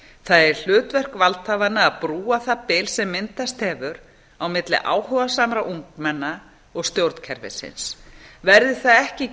er hlutverk valdhafanna að brúa það bil sem myndast hefur á milli áhugasamra ungmenna og stjórnkerfisins verði það ekki